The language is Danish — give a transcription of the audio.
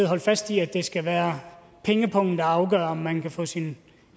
holde fast i at det skal være pengepungen der afgør om man kan få sin